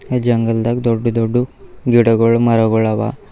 ಈ ಜಂಗಲ್ದಾಗ ದೊಡ್ಡ ದೊಡ್ಡ ಗಿಡಗಳ್ ಮರಗಳ್ ಅವ.